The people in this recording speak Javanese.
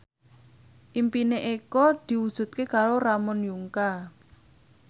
impine Eko diwujudke karo Ramon Yungka